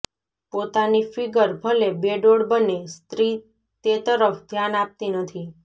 પોતાની ફ્ગિર ભલે બેડોળ બને સ્ત્ર્રી તે તરફ ધ્યાન આપતી નથી